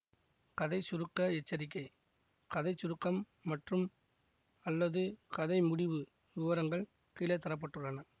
கதை சுருக்க எச்சரிக்கை கதை சுருக்கம் மற்றும்அல்லது கதை முடிவு விவரங்கள் கீழே தர பட்டுள்ளன